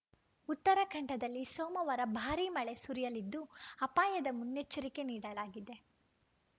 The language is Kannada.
ಉತ್ತರಾಖಂಡದಲ್ಲಿ ಸೋಮವಾರ ಭಾರಿ ಮಳೆ ಸುರಿಯಲಿದ್ದು ಅಪಾಯದ ಮುನ್ನೆಚ್ಚರಿಕೆ ನೀಡಲಾಗಿದೆ